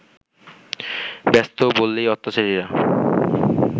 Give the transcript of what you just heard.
ব্যস্ত বলেই অত্যাচারীরা